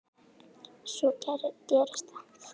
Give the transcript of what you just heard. Svo gerist það.